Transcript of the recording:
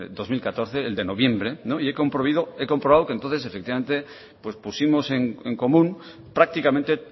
dos mil catorce el de noviembre y he comprobado que entonces efectivamente pues pusimos en común prácticamente